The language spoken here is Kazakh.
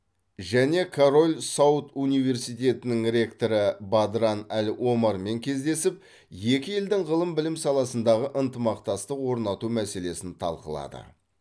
және король сауд университетінің ректоры бадран әл омармен кездесіп екі елдің ғылым білім саласындағы ынтымақтастық орнату мәселесін талқылады